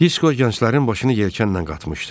Disko gənclərin başını yelkanla qatmışdı.